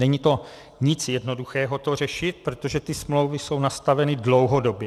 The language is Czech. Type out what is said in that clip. Není to nic jednoduchého to řešit, protože ty smlouvy jsou nastaveny dlouhodobě.